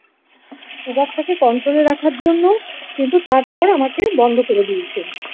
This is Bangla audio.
সুগার টাকে কন্ট্রোলে রাখার জন্য কিন্তু তারপর আমাকে বন্ধ করে দিয়েছে।